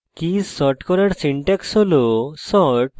keys sort করার syntax হল: